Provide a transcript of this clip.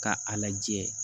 Ka a lajɛ